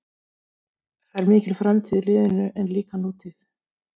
Það er mikil framtíð í liðinu en líka nútíð.